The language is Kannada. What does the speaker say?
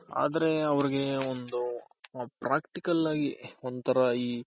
ಆದ್ರೆ ಅವರ್ಗೆ ಒಂದು Practical ಆಗ್ ಒಂತರ ಈ